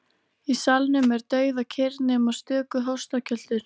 Í salnum er dauðakyrrð nema stöku hóstakjöltur.